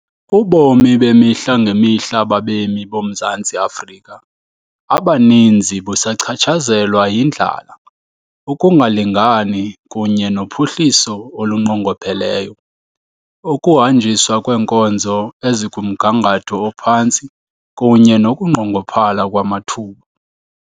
Ubomi bemihla ngemihla babemi boMzantsi Afrika abaninzi busachatshazelwa yindlala, ukungalingani kunye nophuhliso olunqongopheleyo, ukuhanjiswa kweenkonzo ezikumgangatho ophantsi kunye nokunqongophala kwamathuba.